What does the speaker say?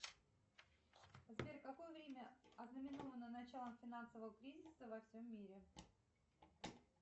сбер какое время ознаменовано началом финансового кризиса во всем мире